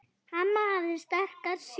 Amma hafði sterka sýn.